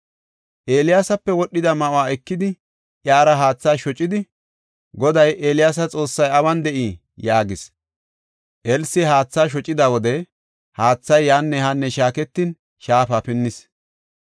Eeliyaasape wodhida ma7uwa ekidi, iyara haatha shocidi, “Goday Eeliyaasa Xoossay awun de7ii?” yaagis. Elsi haatha shocida wode, haathay yaanne haanne shaaketin, shaafa pinnis.